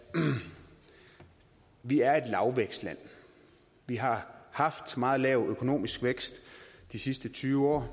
vi er et lavvækstland vi har haft meget lav økonomisk vækst i de sidste tyve år